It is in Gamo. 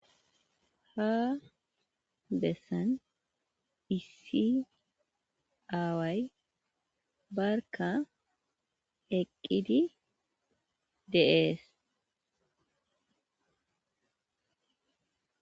Ha bessan issi aaway barka eqidi de'es.